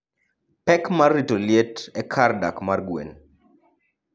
Pek mar rito liet e kar dak mar gwen.